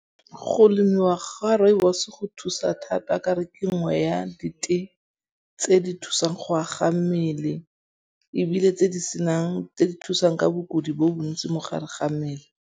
Go lemiwa ga rooibos go thusa thata ka 'ore ke nngwe ya ditee tse di thusang go aga mmele ebile tse di senang, tse di thusang ka bokodi bo bontsi mo gare ga mmele.